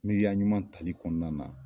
Miiriya ɲuman tali kɔnɔna na